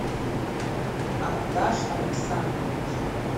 ардаш александрович